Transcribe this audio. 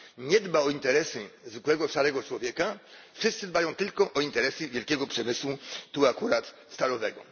nie dba o interesy zwykłego szarego człowieka, wszyscy dbają tylko o interesy wielkiego przemysłu, tu akurat stalowego.